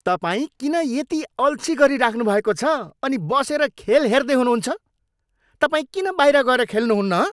तपाईँ किन यति अल्छी गरिराख्नु भएको छ अनि बसेर खेल हेर्दै हुनुहुन्छ? तपाईँ किन बाहिर गएर खेल्नुहुन्न हँ?